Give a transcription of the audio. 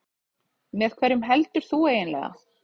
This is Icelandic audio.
Með hverjum heldur þú eiginlega?